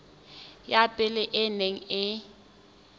ya pele e neng e